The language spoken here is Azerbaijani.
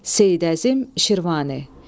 Seyid Əzim Şirvani.